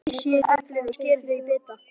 Flysjið eplin og skerið þau í bita.